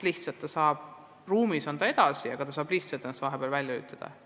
Laps on ruumis edasi, aga ta saab ennast vahepeal välja lülitada.